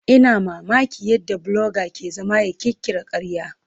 Ina mamakin yadda bloga ke zama ya ƙirƙira ƙarya.